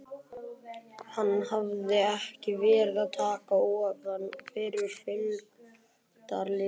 Hann hafði ekki verið að taka ofan fyrir fylgdarliðinu.